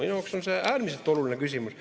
Minu jaoks on see äärmiselt oluline küsimus.